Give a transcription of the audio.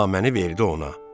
Naməni verdi ona.